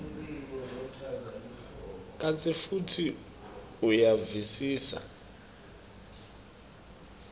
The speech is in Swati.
kantsi futsi uyavisisa